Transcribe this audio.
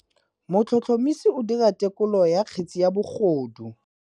Motlhotlhomisi o dira têkolô ya kgetse ya bogodu.